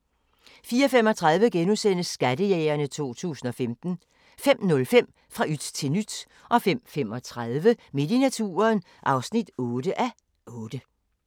04:35: Skattejægerne 2015 * 05:05: Fra yt til nyt 05:35: Midt i naturen (8:8)